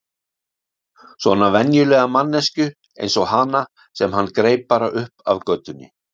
Svona venjulega manneskju eins og hana sem hann greip bara upp af götunni.